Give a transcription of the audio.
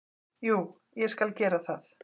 Jú, ég skal gera það.